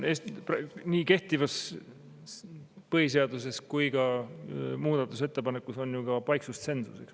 Nii kehtivas põhiseaduses kui ka muudatusettepanekus on ju paiksustsensus.